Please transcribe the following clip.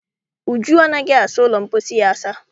Uju anaghị asa ụlọ mposi ya asa.